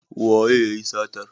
Waye yayi satar?